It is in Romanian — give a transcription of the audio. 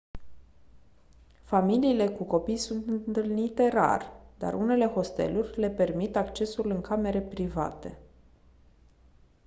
familiile cu copii sunt întâlnite rar dar unele hosteluri le permit accesul în camere private